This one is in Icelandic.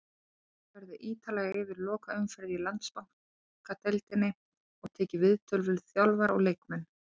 Farið verður ítarlega yfir lokaumferðina í Landsbankadeildinni og tekið viðtöl við þjálfara og leikmenn.